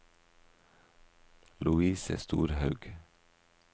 Louise Storhaug